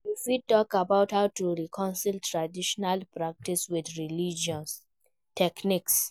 You fit talk about how to reconcile traditional practices with religious teachings.